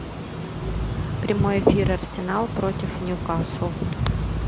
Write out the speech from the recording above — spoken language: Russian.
прямой эфир арсенал против ньюкасл